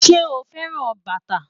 Ṣe o fẹran bata?